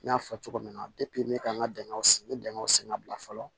N y'a fɔ cogo min na n bɛ ka n ka bɛnw sen n bɛ bɛnw sɛgɛn bila fɔlɔ